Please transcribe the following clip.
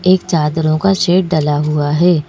एक चादरों का शेड डला हुआ है।